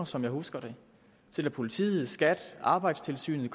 som jeg husker det til at politiet skat og arbejdstilsynet